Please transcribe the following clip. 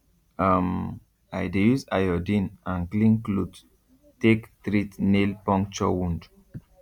um i dey use iodine and clean cloth take treat nail puncture wound